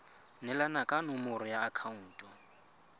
neelana ka nomoro ya akhaonto